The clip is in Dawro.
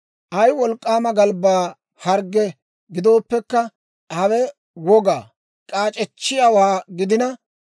«Ay wolk'k'aama galbbaa hargge gidooppekka hawe woga; k'aac'echchiyaawaa gidina,